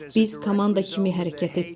Biz komanda kimi hərəkət etdik.